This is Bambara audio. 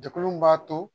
Jɛkulu min b'a to